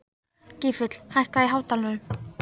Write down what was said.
Gylfi, hækkaðu í hátalaranum.